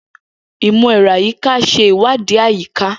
Imọ-ẹrọ ayika ṣe iwadii ayika.